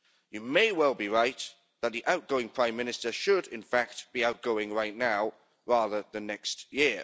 You may well be right that the outgoing Prime Minister should in fact be outgoing right now, rather than next year.